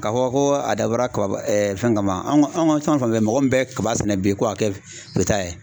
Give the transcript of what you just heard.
Ka fɔ ko a dabɔra kaba fɛn kama an ga fɛn fɛn mɔgɔ min bɛ kaba sɛnɛ bi ko a kɛ ye